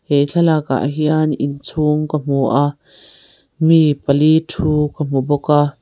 he thlalak ah hian inchhung ka hmu a mi pali thu ka hmu bawk a.